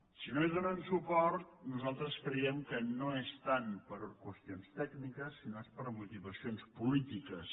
si no hi donen suport nosaltres creiem que no és tant per qüestions tècniques sinó que és per motivacions polítiques